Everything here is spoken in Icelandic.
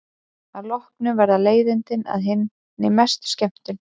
Að lokum verða leiðindin að hinni mestu skemmtun.